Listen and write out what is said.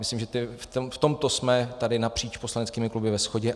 Myslím, že v tomto jsme tady napříč poslaneckými kluby ve shodě.